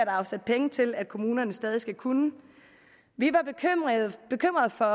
afsat penge til at kommunerne stadig skal kunne vi var bekymrede for